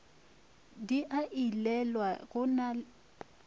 di a ilelwa go na